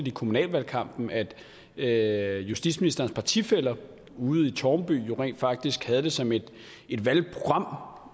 i kommunalvalgkampen at at justitsministerens partifæller ude i tårnby jo rent faktisk havde det som et valgprogram